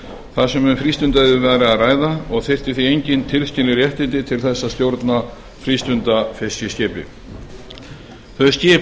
þar sem um frístundaiðju væri að ræða og þyrfti því engin tilskilin réttindi til þess að stjórna frístundafiskiskipi þau skip